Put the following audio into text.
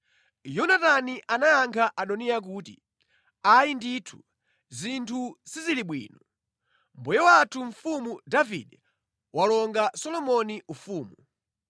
Yonatani anayankha Adoniya kuti, “Ayi ndithu, zinthu sizili bwino! Mbuye wathu Mfumu Davide walonga Solomoni ufumu.